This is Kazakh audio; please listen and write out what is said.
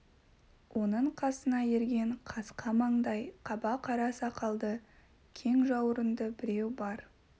оның қасына ерген қасқа маңдай қаба қара сақалды кең жауырынды біреу бар